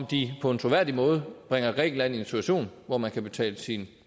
de på en troværdig måde bringer grækenland i en situation hvor man kan betale sin